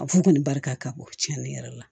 A fu kɔni barika ka bon cɛnni yɛrɛ la